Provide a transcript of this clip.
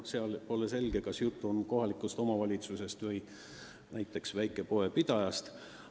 See, kas jutt oli kohalikest omavalitsustest või näiteks väikepoe pidajatest, pole selge.